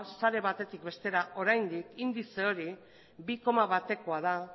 sare batetik bestera oraindik indize hori bi koma batekoa da